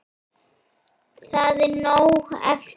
Það er nóg eftir.